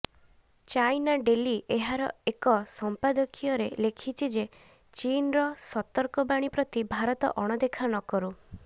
China Daily ଏହାର ଏକ ସମ୍ପାଦକୀୟରେ ଲେଖିଛି ଯେ ଚୀନର ସତର୍କ ବାଣୀ ପ୍ରତି ଭାରତ ଅଣଦେଖା ନକରୁ